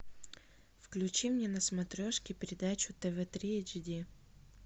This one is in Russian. включи мне на смотрешке передачу тв три эйч ди